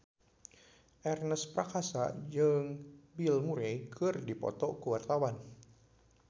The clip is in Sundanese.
Ernest Prakasa jeung Bill Murray keur dipoto ku wartawan